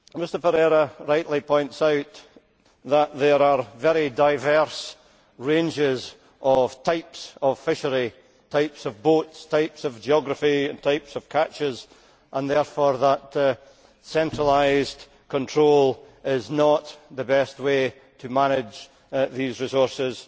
Mr Ferreira rightly points out that there are very diverse ranges of types of fishery types of boats, types of geography, types of catches and therefore that centralised control is not the best way to manage these resources